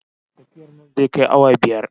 Tafiyar nan zai kai awa biyar